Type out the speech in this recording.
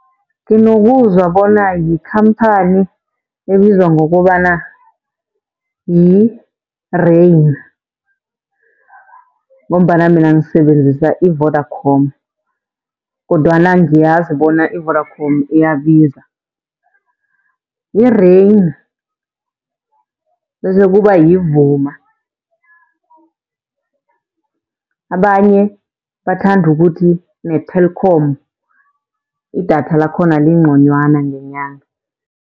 Nginokuzwa bona yikhamphani ebizwa ngokobana yi-Rain, ngombana mina ngisebenzisa i-Vodacom kodwana ngiyazi bona i-Vodacom iyabiza. Yi-Rain bese kuba yiVuma. Abanye bathanda ukuthi ne-Telkom idatha lakhona linconywana ngenyanga.